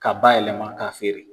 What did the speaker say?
Ka ba yɛlɛma ka feere.